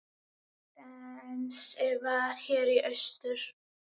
Dennis var hér í austur.